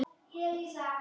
Lengra komst hún ekki.